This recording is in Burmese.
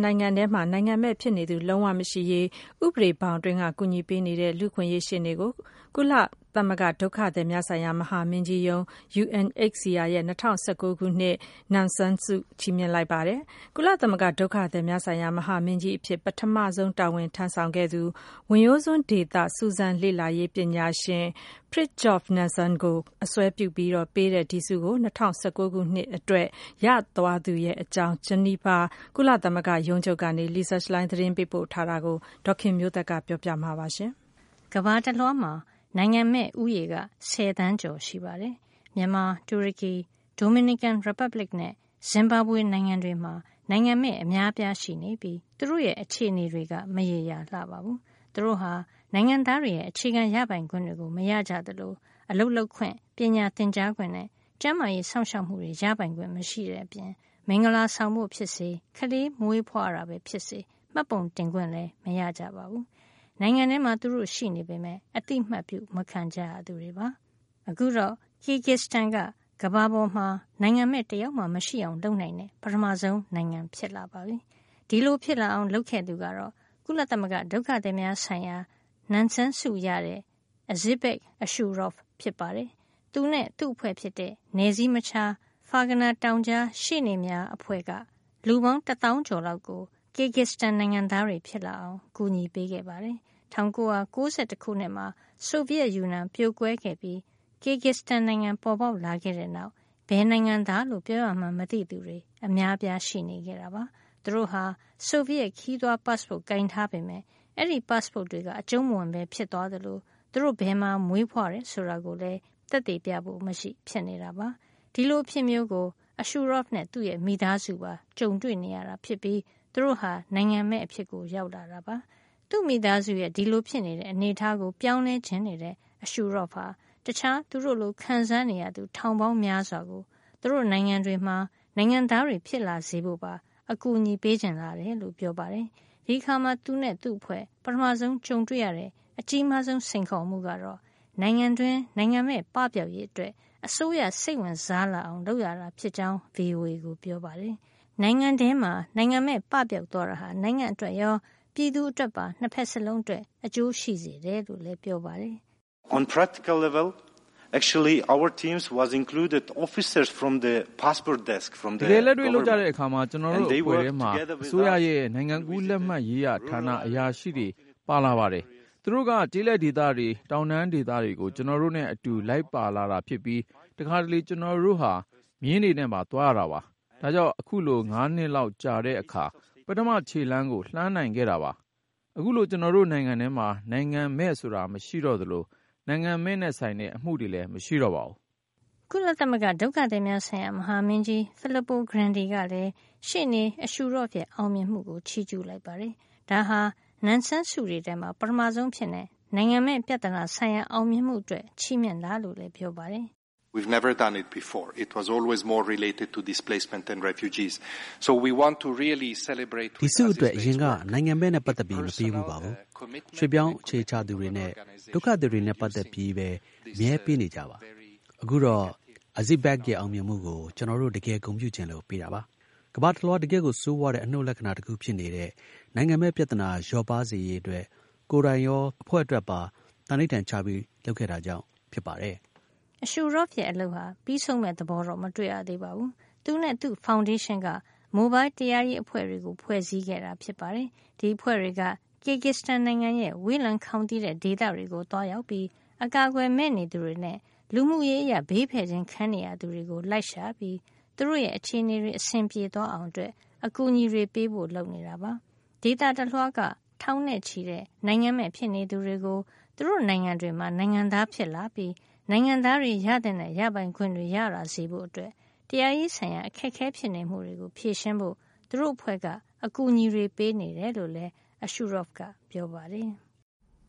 နိုင်ငံထဲမှာ နိုင်ငံမဲ့ဖြစ်နေသူ လုံးဝမရှိရေး အတွက် တရားရေးအရ အကူညီပေးနေတဲ့ လူ့အခွင့်ရေးရှေ့နေ အဇစ်ဘက် အရှူရော့ဗ် Azizbek Ashurov ကို ကုလသမဂ္ဂဒုက္ခသည်များဆိုင်ရာ မဟာမင်းကြီးရုံး UNHCR ရဲ့ ၂၀၁၉ ခုနှစ်အတွက် Nansen ဒုက္ခသည်ဆိုင်ရာဆု ချီးမြှင့် လိုက်ပါတယ်။ ကုလသမဂ္ဂ ဒုက္ခသည်များဆိုင်ရာ မဟာမင်းကြီးအဖြစ် ပထမဆုံး တာဝန်ထမ်းဆောင်ခဲ့သူ ဝင်ရိုးစွန်းဒေသ စူးစမ်းလေ့လာရေး ပညာရှင် Fridjof Nansen ကိုအစွဲပြုပြီး ပေးတဲ့ ဒီဆု ရသွားသူအကြောင်း ဂျနီဗာ ကုလသမဂ္ဂရုံးချုပ်ကနေ Lisa Schlein သတင်းပို့ထားတာကို ဒေါ်ခင်မျိုးသက်က ပြောပြပေးမှာပါ။ ကမ္ဘာတလွှားမှာ နိုင်ငံမဲ့ဦးရေက ဆယ်သန်းကျော်ရှိပါတယ်။ မြန်မာ၊ တူရကီ၊ ဒိုမီနီကန်ရီပတ်ဘလစ်နဲ့ ဇင်ဘာဘွေနိုင်ငံတွေမှာ နိုင်ငံမဲ့ အများအပြား ရှိနေပြီး သူတို့ရဲ့ အခြေနေတွေက မရေမရာလှပါဘူး။ သူတို့ဟာ နိုင်ငံသားတွေရဲ့ အခြေခံရပိုင်ခွင့်တွေကို မရကြသလို အလုပ်လုပ်ခွင့်၊ ပညာသင်ကြားခွင့်နဲ့ ကျန်းမာရေးစောင့်ရှောက်မှုတွေ ရပိုင်ခွင့်မရှိတဲ့အပြင် မင်္ဂလာဆောင်ဖို့ပဲ ဖြစ်ဖြစ် ကလေးမွေးဖွားတာ ပဲဖြစ်ဖြစ် မှတ်ပုံတင်ခွင့်မရကြပါဘူး။ နိုင်ငံထဲမှာ သူတို့ရှိပေမယ့် အသိမှတ်ပြု မခံကြရသူတွေပါ။ အခုတော့ Kyrgyzstan က ကမ္ဘာပေါ်မှာ နိုင်ငံမဲ့တယောက်မှ မရှိအောင်လုပ်နိုင်တဲ့ ပထမဆုံး နိုင်ငံဖြစ်လာပါပြီ။ ဒီလိုဖြစ်လာအောင် လုပ်ခဲ့သူကတော့ ကုလသမဂ္ဂ ဒုက္ခသည်များဆိုင်ရာ Nansen ဆု ရခဲ့တဲ့ Azizbek Ashurov ဖြစ်ပါတယ်။ သူနဲ့ သူ့အဖွဲ့ဖြစ်တဲ့ နယ်စည်းမခြား ဖာဂါနာတောင်ကြား ရှေ့နေများအဖွဲ့ (Ferghana Valley Lawyers Without Borders) ဟာ လူပေါင်း တသောင်းကျော်လောက်ကို Kyrgyzstan နိုင်ငံသားတွေ ဖြစ်လာအောင် ကူညီခဲ့ပါတယ်။ ၁၉၉၁ ခုနှစ်မှာ ဆိုဗီယက်ယူနီယံ ပြိုကွဲခဲ့ပြီး Kyrgyzstan နိုင်ငံ ပါ်ပေါက်လာခဲ့တဲ့နောက် ဘယ်နိုင်ငံသားလို့ ပြောရမှန်းမသိသူတွေ အများအပြားရှိနေခဲ့ပါတယ်။ သူတို့ဟာ ဆိုဗီယက် ခရီးသွား passport ကိုင်ထားပေမယ့် အဲဒီ passport တွေက အကျုံးမဝင်ဘဲ ဖြစ်သွားသလို သူတို့ ဘယ်မှာမွေးဖွားတယ် ဆိုတာကိုလည်း သက်သေပြဖို့မရှိဖြစ်နေတာပါ။ ဒီလို အဖြစ်မျိုးကို Ashurov နဲ့ သူ့မိသားစုတွေပါ ကြုံနေ ရတာဖြစ်ပြီး သူတို့ဟာ နိုင်ငံမဲ့ အဖြစ်ကို ရောက်လာတာပါ။ သူ့မိသားစုရဲ့ ဒီလိုဖြစ်နေတဲ့ အနေထားကို ပြောင်းလဲချင်နေတဲ့ Ashurov ဟာ တခြားသူတို့လို ခံစားနေရသူ ထောင်ပေါင်းများစွာကို သူတို့နိုင်ငံတွေမှာ နိုင်ငံသားတွေ ဖြစ်လာစေဖို့ပါ အကူညီပေးချင်လာတယ်လို့ ပြောပါတယ်။ ဒီအခါမှာ သူနဲ့ သူ့အဖွဲ့ ပထမဆုံးကြုံတွေ့ရတဲ့ အကြီးမားဆုံး စိန်ခေါ်မှုက နိုင်ငံတွင်း နိုင်ငံမဲ့ပပျောက်ရေးအတွက် အစိုးရစိတ်ဝင်စားလာအောင် လုပ်ရတာဖြစ်ကြောင်း VOA ကိုပြောပါတယ်။ နိုင်ငံတွင်း နိုင်ငံမဲ့ပပျောက်သွားတာဟာ နိုင်ငံအတွက်ရော ပြည်သူတွေ အတွက်ပါ ၂ ဖက်စလုံးအတွက် အကျိုးရှိတယ်လို့လည်း ပြောပါတယ်။ “တကယ်လက်တွေ့ လုပ်ကြတဲ့အခါမှာ ကျနော်တို့ အဖွဲ့ထဲမှာ အစိုးရရဲ့နိုင်ငံကူးလက်မှတ်ရေးရာ ဌာနက အရာရှိတွေပါ ပါလာပါတယ်။ သူတို့က ကျေးလက်ဒေသတွေ၊ တောင်တန်းဒေသတွေကို ကျနော်တို့နဲ့ အတူလိုက်လာတာ ဖြစ်ပြီး တခါတလေ ကျနော်တို့ဟာ မြင်းတွေနဲ့ပါ သွားရတာပါ။ ဒါကြောင့် အခုလို ၅ နှစ်လောက် ကြာလာတဲ့အခါ ပထမခြေလှမ်းကို လှမ်းနိုင်ခဲ့တာပါ။ အခုဆို ကျနော်တို့နိုင်ငံထဲမှာ နိုင်ငံမဲ့ဆိုတာ မရှိတော့သလို နိုင်ငံမဲ့နဲ့ဆိုင်တဲ့ အမှုလည်းမရှိတော့ပါဘူး။” ကုလသမဂ္ဂ ဒုက္ခသည်များဆိုင်ရာ မဟာမင်းကြီး Filippo Grandi ကလည်း ရှေ့နေ Ashurov ရဲ့ အောင်မြင်မှှုကို ချီးကြူးလိုက်ပါတယ်။ ဒါဟာ Nansen ဆုတွေထဲမှာ ပထမဆုံးအဖြစ် နိုင်ငံမဲ့ပြဿနာဆိုင်ရာ အောင်မြင်မှုအတွက် ချီးမြှင့်တာလို့လည်း ပြောပါတယ်။ “ဒီဆုအတွက် အရင်က နိုင်ငံမဲ့နဲ့ ပတ်သက်ပြီး မပေးဘူးပါဘူး။ ရွှေ့ပြောင်းအခြေချသူတွေနဲ့ ဒုက္ခသည်တွေနဲ့ ပတ်သက်ပြီးပဲ အမြဲပေးနေကျ ပါ။ အခုတော့ Azizbek ရဲ့ အောင်မြင်မှုကို ကျနော်တို့ တကယ်ဂုဏ်ပြုချင်လို့ ပေးတာပါ။ ကမ္ဘာတလွှား တကယ့်ကိုဆိုးဝါးတဲ့ အနှုတ်လက္ခဏာ တခု ဖြစ်နေတဲ့ နိုင်ငံမဲ့ပြဿနာ လျော့ပါးစေရေးအတွက် ကိုယ်တိုင်ရော အဖွဲ့အတွက်ပါ သံဓိဌာန်ချပြီးလုပ်ခဲ့တာကြောင့် ဖြစ်ပါတယ်။” Ashurov ရဲ့ အလုပ်က ပြီးဆုံးမယ့်သဘောတော့ မတွေ့ရသေးပါဘူး။ သူနဲ့ သူ့ဖေါင်ဒေးရှင်းက မိုဘိုင်းတရားရေး အဖွဲ့တွေကို ဖွဲ့စည်းခဲ့တာပါ။ ဒီအဖွဲ့တွေက Kyrgyzstan နိုင်ငံရဲ့ ဝေးလံခေါင်သီတဲ့ ဒေသတွေကိုသွားရောက်ပြီး အကာကွယ်မဲ့နေသူတွေနဲ့ လူမှုရေးအရ ဘေးဖယ်ခြင်း ခံနေရသူတွေကို လိုက်ရှာပြီး သူတို့ရဲ့အခြေနေတွေ အဆင်ပြေ သွားအောင် အကူညီတွေ ပေးဖို့ လုပ်နေတာပါ။ ဒေသတလွှားက ထောင်နဲ့ချီတဲ့ နိုင်ငံမဲ့ဖြစ်နေသူတွေကို သူတို့နိုင်ငံတွေမှာနိုင်ငံသားဖြစ်လာပြီး နိုင်ငံသားတွေရသင့်တဲ့ ရပိုင်ခွင့်တွေ ရလာစေဖို့ တရားရေးဆိုင်ရာ အခက်အခဲဖြစ်နေမှုတွေကို ဖြေရှင်းဖို့ သူတို့အဖွဲ့က အကူညီတွေပေးနေတယ်လို့လည်း Ashurov ကပြောပါတယ်။